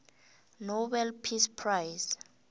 nobel peace prize